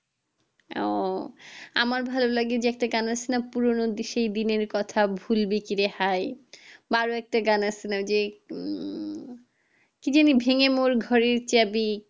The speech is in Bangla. ও আমার ভালো লাগে যে একটা গান আছে না পুরোনো সেই দিনের কথা ভুলবে কি রে হাই বা আরো একটা গান আছে না যে উম কে যেন ভেঙে মোর ঘরের চাবি